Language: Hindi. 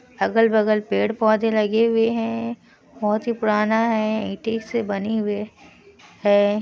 अलग- बगल पेड़-पौधे लगे हुए हैं। बहोत ही पुराना है ईंट से बनी हुई है।